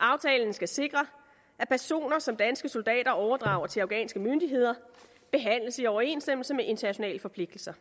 aftalen skal sikre at personer som danske soldater overdrager til afghanske myndigheder behandles i overensstemmelse med internationale forpligtelser